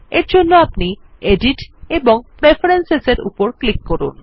এরজন্য আপনি এডিট এবং প্রেফারেন্স এর উপর ক্লিক করুন